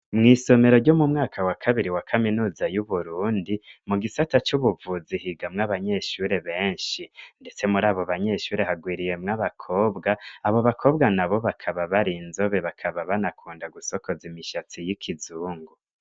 Mwisomero ryo mu mwaka wa kabiri wa kaminuza yuburundi mu gisata c'ubuvuzi higamwo abanyeshure benshi, ndetse murabo banyeshure hagwiriyemwo abakobwa, abo bakobwa nabo bakaba barinzobe bakaba banakunda gusokoza imishatsi y'ikizungu.